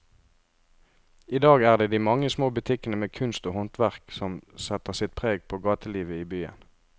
I dag er det de mange små butikkene med kunst og håndverk som setter sitt preg på gatelivet i byen.